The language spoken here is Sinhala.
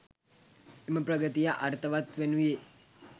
එම ප්‍රගතිය අර්ථවත් වනුයේ